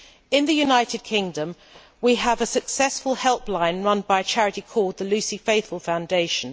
In the United Kingdom we have a successful helpline run by a charity called the Lucy Faithfull Foundation.